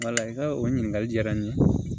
i ka o ɲininkali diyara n ye